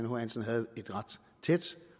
h hansen havde et ret tæt